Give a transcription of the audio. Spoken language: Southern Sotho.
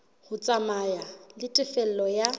ho tsamaya le tefello ya